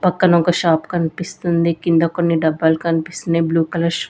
పక్కన ఒక షాప్ కన్పిస్తుంది కింద కొన్ని డబ్బాలు కనిపిస్తున్నై బ్లూ కలర్ షూ .